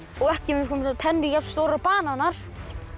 og ekki tennur jafnstórar og bananar